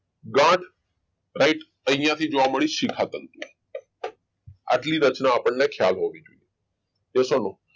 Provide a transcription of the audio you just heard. ગાંઠ light અહીંયાથી જોવા મળ્યું શિખા તંત્ર આટલી રચનાઓ આપણને ખ્યાલ હોવી જોઈએ